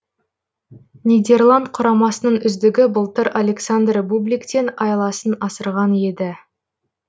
нидерланд құрамасының үздігі былтыр александр бубликтен айласын асырған еді